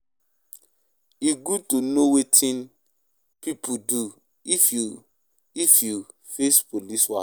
E good to know wetin to do if you if you face police wahala.